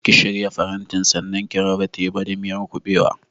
Ki shirya farantin sannan ki raba teba da miyar kuɓewa!